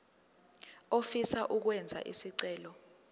ofisa ukwenza isicelo